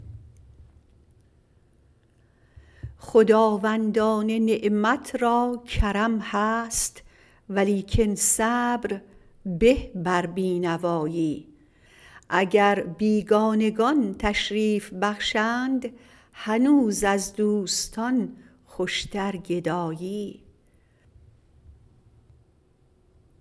خداوندان نعمت را کرم هست ولیکن صبر به بر بینوایی اگر بیگانگان تشریف بخشند هنوز از دوستان خوشتر گدایی